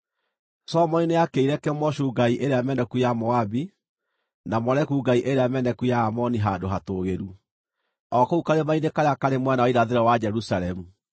Solomoni nĩakĩire Kemoshu ngai ĩrĩa meneku ya Moabi, na Moleku ngai ĩrĩa meneku ya Aamoni handũ hatũũgĩru, o kũu karima-inĩ karĩa karĩ mwena wa irathĩro wa Jerusalemu.